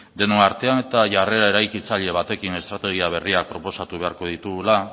denon artean eta jarrera eraikitzaile batekin estrategia berria proposatu beharko ditugula